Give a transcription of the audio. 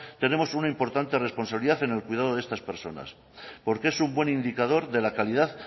tenemos una importante responsabilidad en el cuidado de estas personas porque es un buen indicador de la calidad